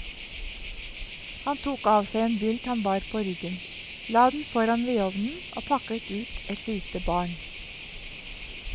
Han tok av seg en bylt han bar på ryggen, la den foran vedovnen og pakket ut et lite barn.